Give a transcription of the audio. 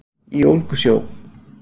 Í ólgusjó